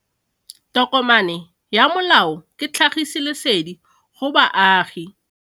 Tokomane ya molao ke tlhagisi lesedi go baagi.